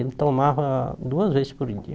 Ele tomava duas vezes por dia.